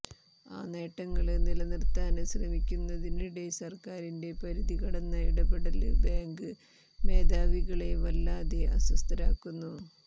ആ നേട്ടങ്ങള് നിലനിര്ത്താന് ശ്രമിക്കുന്നതിനിടെ സര്ക്കാറിന്റെ പരിധി കടന്ന ഇടപെടല് ബേങ്ക് മേധാവികളെ വല്ലാതെ അസ്വസ്ഥരാക്കുന്നു